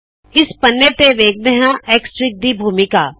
ਇਸ ਪੰਨੇ ਤੇ ਵੇਖਦੇ ਹਾੰ ਐਕਸਐਫਆਈਜੀ ਦੀ ਭੂਮਿਕਾ